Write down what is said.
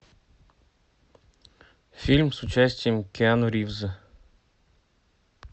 фильм с участием киану ривза